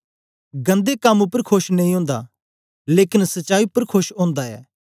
गन्दे कम उपर खोश नेई ओंदा लेकन सच्चाई उपर खोश ओंदा ऐ